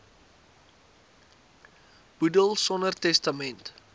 boedel sonder testament